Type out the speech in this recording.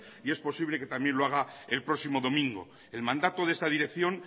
y es posible que también lo haga el próximo domingo el mandato de esta dirección